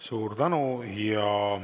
Suur tänu!